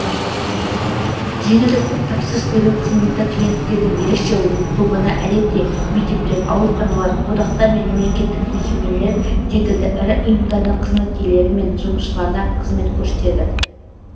жеңілдікпен тапсырыс беру қызметі клиенттердің ерекше тобына әдетте мектептер ауруханалар одақтар мен мемлекеттік мекемелер секілді ірі ұйымдардың қызметкерлері мен жұмысшыларына қызмет көрсетеді